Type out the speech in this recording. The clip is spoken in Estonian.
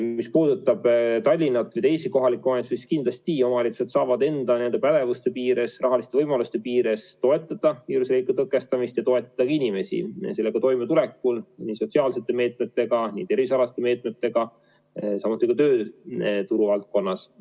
Mis puudutab Tallinna ja ka teisi kohalikke omavalitsusi, siis kindlasti omavalitsused saavad enda pädevuse piires, rahaliste võimaluste piires toetada viiruse leviku tõkestamist ja toetada ka inimesi sellega toimetulekul nii sotsiaalsete meetmetega kui ka tervisealaste meetmetega, samuti tööturu valdkonnas.